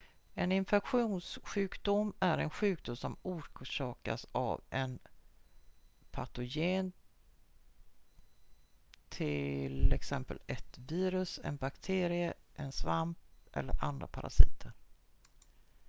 en infektionssjukdom är en sjukdom som orsakas av en patogen t.ex ett virus en bakterie en svamp eller andra parasiter